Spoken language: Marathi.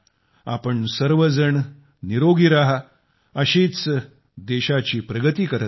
तुम्ही सर्व जण निरोगी रहा अशीच देशाची प्रगती करत रहा